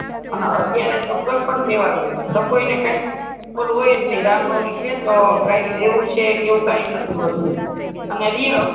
અને અતિયારે તો કોઈ પણ તહેવાર સ કોઈ ને કાય ઓલું હોય જ નય રામનવમી છે તો કાય રેવું છે એવું કાય નથી હોતું અને રિયો